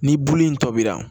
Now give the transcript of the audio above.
Ni bulu in tɔbira